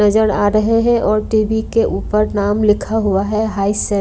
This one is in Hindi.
नजर आ रहे है और टी_वी के ऊपर नाम लिखा हुआ है हाय सर --